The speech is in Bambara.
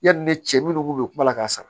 Yani ne cɛ minnu k'u bɛ kuma la k'a sara